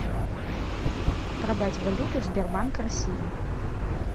продать валюту сбербанк россия